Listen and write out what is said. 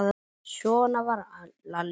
Svona var Lalli Sig.